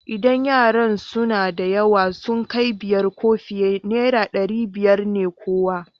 Idan yaran suna da yawa, sun kai biyar ko fiye, naira ɗari biyar ne kowa.